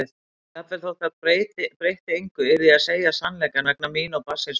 Jafnvel þótt það breytti engu yrði ég að segja sannleikann vegna mín og barnsins míns.